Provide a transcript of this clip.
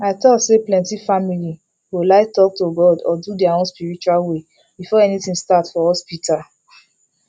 i talk sayplenty family go like talk to god or do their own spiritual way before anything start for hospital